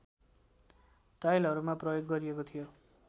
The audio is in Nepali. टाइलहरूमा प्रयोग गरिएको थियो